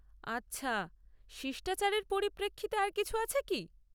আচ্ছা, শিষ্টাচারের পরিপ্রেক্ষিতে আর কিছু আছে কি?